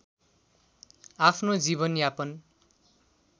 आफ्नो जीवन यापन